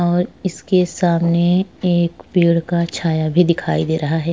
और इसके सामने एक पेड़ का छाया भी दिखाई दे रहा है।